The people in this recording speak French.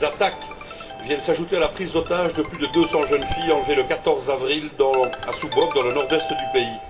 Ces attaques viennent s'ajouter à la prise d'otage de plus de 200 jeunes filles enlevées le 14 avril à Chibok dans le nord est du pays.